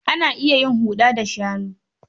Ana iya yin haro da shanu.